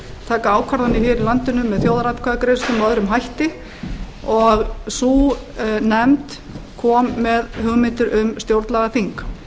taka ákvarðanir hér í landinu með þjóðaratkvæðagreiðslum og öðrum hætti og sú nefnd kom með hugmyndir um stjórnlagaþing